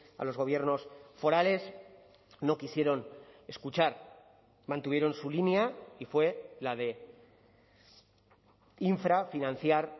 a los gobiernos forales no quisieron escuchar mantuvieron su línea y fue la de infrafinanciar